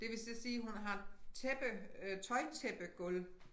Det vil så sige hun har tæppe øh tøjtæppegulv